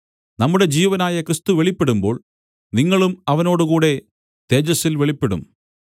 നമ്മുടെ ജീവനായ ക്രിസ്തു വെളിപ്പെടുമ്പോൾ നിങ്ങളും അവനോടുകൂടെ തേജസ്സിൽ വെളിപ്പെടും